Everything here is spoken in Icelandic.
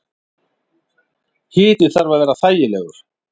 Hiti þarf að vera þægilegur.